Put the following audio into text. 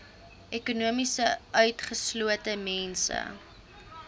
ekonomies utgeslote mense